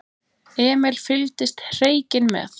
Emil fylgdist hreykinn með.